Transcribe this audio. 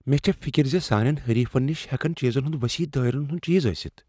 مےٚ چھےٚ فکر ز سانٮ۪ن حریفین نش ہیٚکن چیزن ہندِ وصیح دٲیرن ہندِ چیز ٲسِتھ ۔